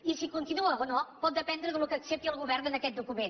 i si continua o no pot dependre del que accepti el govern en aquest document